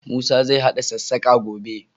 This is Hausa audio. Musa zai haɗa sassaƙa, gobe.